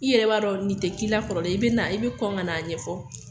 I yɛrɛ b'a dɔn nin tɛ k'i la kɔrɔlen, i bɛ na , i bɛ kɔn ka n'a ɲɛfɔ.